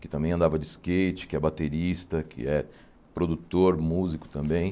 Que também andava de skate, que é baterista, que é produtor, músico também.